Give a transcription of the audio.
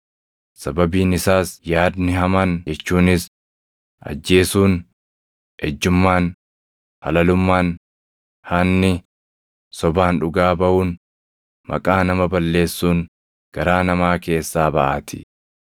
Sababiin isaas yaadni hamaan jechuunis ajjeesuun, ejjummaan, halalummaan, hanni, sobaan dhugaa baʼuun, maqaa nama balleessuun garaa namaa keessaa baʼaatii.